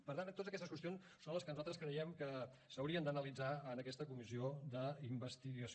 per tant totes aquestes qüestions són les que nosaltres creiem que s’haurien d’analitzar en aquesta comissió d’investigació